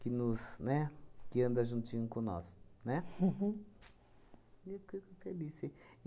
que nos, né? Que anda juntinho com nós, né? E eu fico feliz sim.